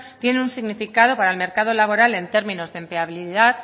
tienen un significado para el mercado laboral en términos de empleabilidad